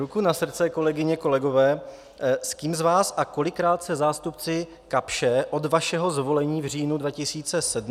Ruku na srdce, kolegyně, kolegové, s kým z vás a kolikrát se zástupci Kapsche od vašeho zvolení v říjnu 2017 do dneška sešli?